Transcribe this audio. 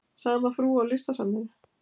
Sama frú á Listasafninu?